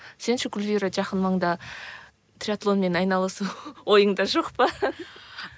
сен ше гүлвира жақын маңда триатлонмен айналысу ойыңда жоқ па